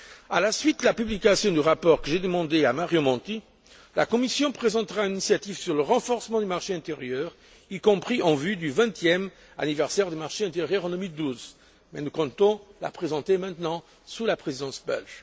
À la suite de la publication du rapport que j'ai demandé à Mario Monti, la Commission présentera une initiative sur le renforcement du marché intérieur, y compris en vue du 20e anniversaire du marché intérieur en 2012. Nous comptons la présenter sous la présidence belge.